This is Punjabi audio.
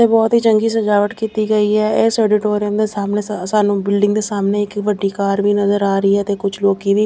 ਬਹੁਤ ਹੀ ਚੰਗੀ ਸਜਾਵਟ ਕੀਤੀ ਗਈ ਆ ਇਹ ਦੇ ਸਾਹਮਣੇ ਸਾਨੂੰ ਬਿਲਡਿੰਗ ਦੇ ਸਾਹਮਣੇ ਇੱਕ ਵੱਡੀ ਕਾਰ ਵੀ ਨਜ਼ਰ ਆ ਰਹੀ ਆ ਤੇ ਕੁਝ ਲੋਕੀ ਵੀ --